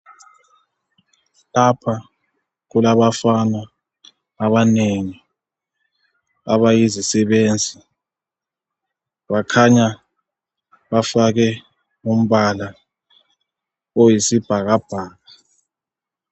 Lapha kulabafana abanengi abayizisebenzi. Bakhanya bafake umbala oyisibhakabhaka.